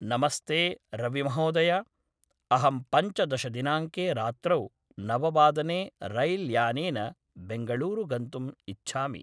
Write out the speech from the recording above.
नमस्ते रविमहोदय अहं पञ्चदशदिनाङ्के रात्रौ नववादने रैल्यानेन बेङ्गळूरु गन्तुम् इच्छामि